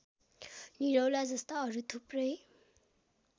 निरौलाजस्ता अरू थुप्रै